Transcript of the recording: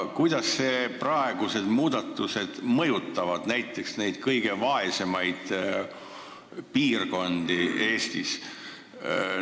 Kuidas need plaanitud muudatused mõjutavad neid kõige vaesemaid piirkondi Eestis?